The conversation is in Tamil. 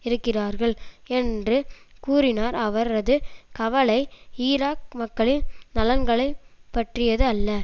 இருக்கிறார்கள் என்று கூறினார் அவரது கவலை ஈராக் மக்களின் நலன்களை பற்றியது அல்ல